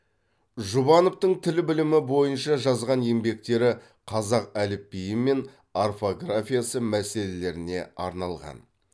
жұбановтың тіл білімі бойынша жазған еңбектері қазақ әліпбиі мен орфографиясы мәселелеріне арналған